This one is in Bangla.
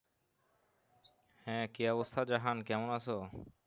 হ্যাঁ কি অবস্থা জাহান কেমন আছো?